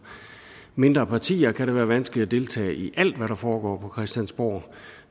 mindre partier kan være vanskeligt at deltage i alt hvad der foregår på christiansborg